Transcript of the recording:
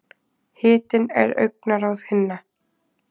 Hitinn er augnaráð hinna.